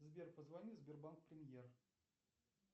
сбер позвони в сбербанк премьер